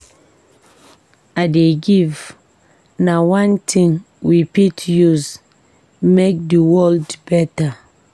To dey give na one tin we fit use make di world beta.